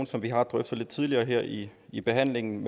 som vi har drøftet lidt tidligere her i i behandlingen